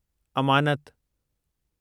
अमानत